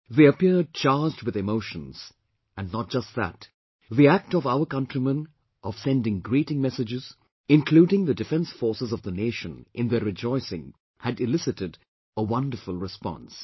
They appeared charged with emotions, and not just that, the act of our countrymen of sending greeting messages, including the defence forces of the nation in their rejoicing had elicited a wonderful response